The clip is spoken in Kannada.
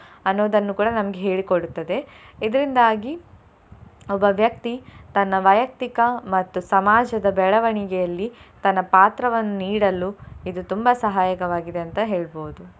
ಅನ್ನೋದನ್ನು ಕೂಡಾ ನಮ್ಗೆ ಹೇಳಿ ಕೊಡುತ್ತದೆ. ಇದರಿಂದಾಗಿ ಒಬ್ಬ ವ್ಯಕ್ತಿ ತನ್ನ ವೈಯಕ್ತಿಕ ಮತ್ತು ಸಮಾಜದ ಬೆಳವಣಿಗೆಯಲ್ಲಿ ತನ್ನ ಪಾತ್ರವನ್ನು ನೀಡಲು ಇದು ತುಂಬಾ ಸಹಾಯಕವಾಗಿದೆ ಅಂತ ಹೇಳ್ಬಹುದು.